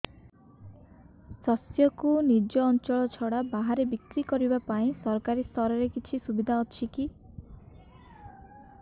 ଶସ୍ୟକୁ ନିଜ ଅଞ୍ଚଳ ଛଡା ବାହାରେ ବିକ୍ରି କରିବା ପାଇଁ ସରକାରୀ ସ୍ତରରେ କିଛି ସୁବିଧା ଅଛି କି